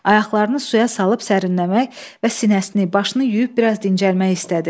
Ayaqlarını suya salıb sərinləmək və sinəsini, başını yuyub biraz dincəlmək istədi.